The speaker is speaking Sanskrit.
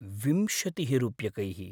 विंशतिः रूप्यकैः।